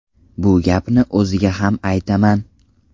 Bu gapni o‘ziga ham aytaman.